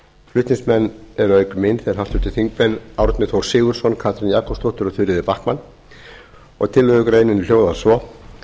flutningsmenn eru auk mín háttvirtir þingmenn árni þór sigurðsson katrín jakobsdóttir og þuríður backman tillögugreinin hljóðar svo